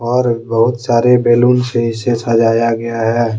और बहुत सारे बैलून से इसे सजाया गया है।